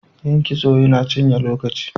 Yin kitso yana cinye lokaci.